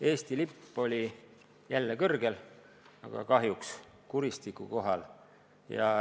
Eesti lipp oli jälle kõrgel, aga kahjuks kuristiku kohal.